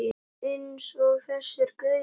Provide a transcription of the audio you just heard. Eins og þessir gaurar!